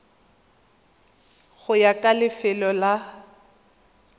go ya ka lefelo la